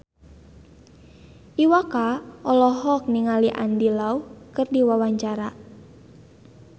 Iwa K olohok ningali Andy Lau keur diwawancara